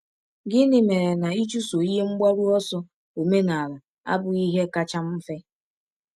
Gịnị mere na ịchụso ihe mgbaru ọsọ omenala abụghị ihe kacha mfe?